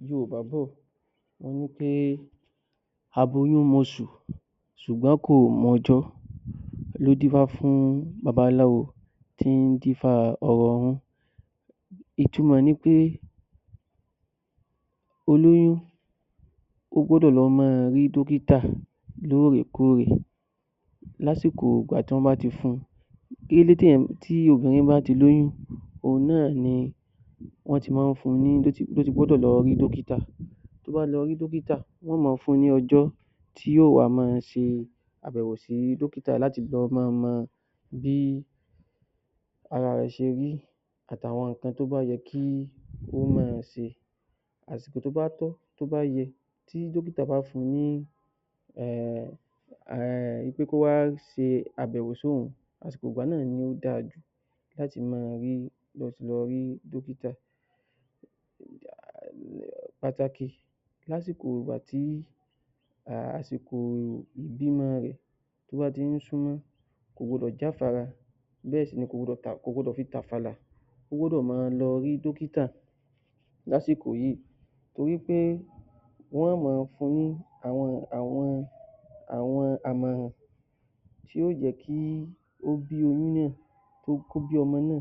Awọn Yorùbá bọ̀ wọ́n ní aboyún moṣù ṣùgbọ́n kò mọjọ́ ló dífá fún baba aláwo tó dífá or oòrùn, ìtumọ̀ rẹ ni pé, olóyún ó gbọdọ̀ lọ máa rí dókítà lóòrè kóòrè lásìkò ìgbà tí wọ́n bá ti fún un, tí obìnrin bá ti lóyún òun náà ni wọ́n ti máa ń fún un ní, ló ti gbọ́dọ̀ lọ rí dókítà, tó bá lọ rí dókítà tí wọ́n ó máa fún un ní ọjọ́ tí yóò wá máa ṣe àyẹ̀wò sí dókítà láti le máa mọ bí ara rẹ ṣe rí àti àwọn nǹkan tó bá yẹ kó máà ṣe. Àsìkò tó bá tọ́ tó bá yẹ tí dókítà bá fún un ní ẹm wí pé kó wá ṣe àbẹ̀wò sí òhun asiko náà ló dára jù láti máa rí, láti lọ rí dókítà pàtàkì lásìkò ìgbà tí àsìkò ìbímọ bá ti ń súnmọ́ kò gbọdọ̀ jáfara, kò gbọdọ̀ fi tàfàlà ó gbọdọ̀ lọ rí dókítà lásìkò yìí torí pé wọn ó máa fún un ní àwọn àmọ̀ràn tí yóò jẹ́ kí ó bí ọmọ náà